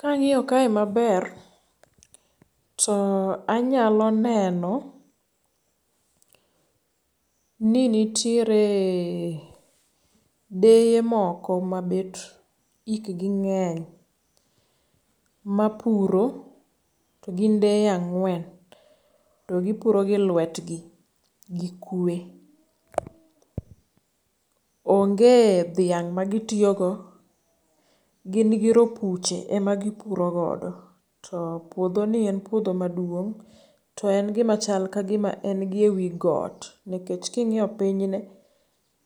Kang'iyo kae maber to anyalo neno ni nitiere deye moko mabet hik gi ng'eny mapuro to gin deye ang'wen to gipuro gi lwet gi gi kwe. Onge dhiang' magitiyo go. Gin gi ropuche ema gipuro godo. To puodho ni en puodho maduong'. To en gimachal kagima en gi e wi got nikech king'iyo piny ne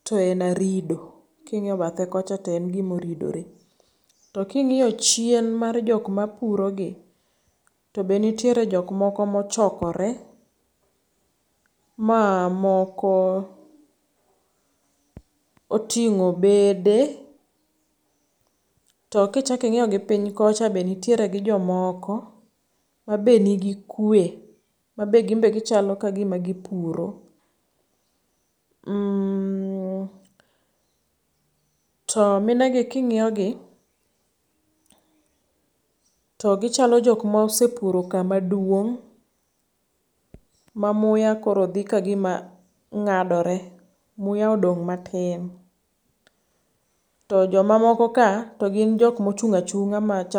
to en arido. King'iyo bathe kocha to en gimo ridore. To king'iyo chien mar jok mapuro gi, to be nitiere jok moko mochokore ma moko oting'o bede. To kichak ing'iyo gi piny kocha be nitiere gi jomoko ma be nigi kwe. Ma be gin be gichalo kagima gipuro. To mine gi king'iyo gi, to gichalo jok mosepuro kama guong' ma muya koro dhi kagima ng'adore. Muya odong' matin. To joma moko ka to gin jok mochung' achung'a.